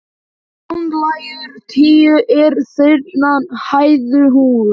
Bunulækur tíu er þriggja hæða hús.